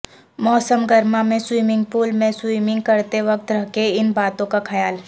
موسم گرما میں سوئمنگ پول میں سوئمنگ کرتے وقت رکھے ان باتوں کا خیال